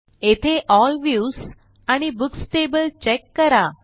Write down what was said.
येथे L views आणि books table check करा